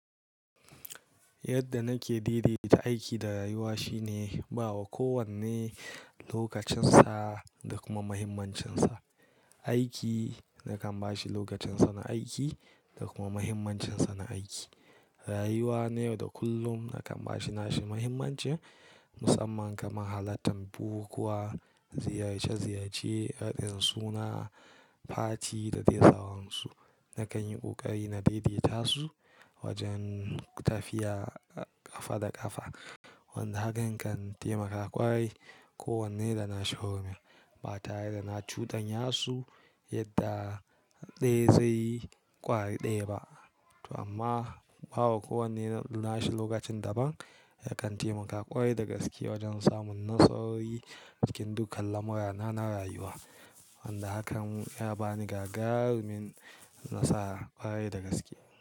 Yadda nake daidaita aiki da rayuwa shine bawa kowanne lokacinsa da kuma muhimmancinsa. Aiki nakan ba shi lokacinsa na aiki da kuma muhimmancinsa na aiki. Rayuwa na yau da kullum nakan ba shi nashin muhimmanci, musamman kamar halartan bukukuwa, ziyarce ziyarce, haɗin suna, fati da dai sauransu. Nakan yi ƙoƙari na daidaita su wajen tafiya ƙafa da ƙafa. Wanda hakan kan taimaka ƙwarai. Ko wanne da na shi hurumin, ba tare da na cudanya su yadda dai zai ƙware ɗaya ba. To amma bawa kowanne nashi lokacin daban yakan taimaka ƙwarai da gaske wajen samun nasarori cikin dukkan lamurana na rayuwa. Wanda hakan ya bani gagarumin nasara ƙwarai da gaske.